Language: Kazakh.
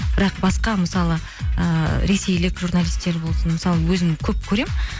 бірақ басқа мысалы ыыы ресейлік журналистер болсын мысалы өзім көп көремін